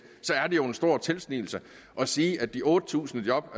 jo en stor tilsnigelse at sige at de otte tusind job